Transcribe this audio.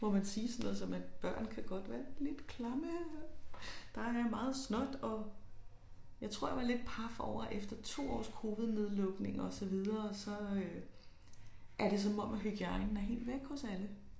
Må man sige sådan noget som at børn kan godt være lidt klamme. Der er meget snot jeg tror jeg var lidt paf over efter to års covidnedlukning og så videre så øh er det om om hygiejnen er helt væk hos alle